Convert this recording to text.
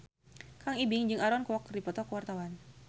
Kang Ibing jeung Aaron Kwok keur dipoto ku wartawan